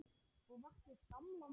Og vakti upp gamlan draum.